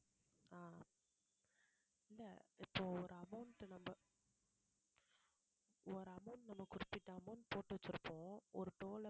இப்ப ஒரு amount நம்ம ஒரு amount நம்ம குறிப்பிட்ட amount போட்டு வச்சிருப்போம் ஒரு toll அ